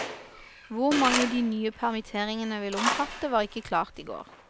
Hvor mange de nye permitteringene vil omfatte, var ikke klart i går.